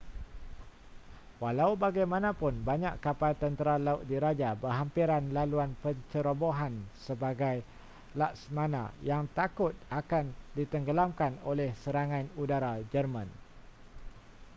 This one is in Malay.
walau bagaimanapun banyak kapal tentera laut diraja berhampiran laluan pencerobohan sebagai laksamana yang takut akan ditenggelamkan oleh serangan udara jerman